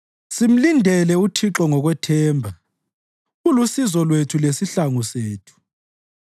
Simlindele uThixo ngokwethemba; ulusizo lwethu lesihlangu sethu.